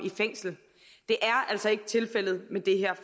fængsel det er altså ikke tilfældet med det her